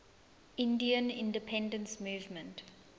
indian independence movement